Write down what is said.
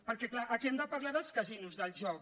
perquè és clar aquí hem de parlar dels casinos del joc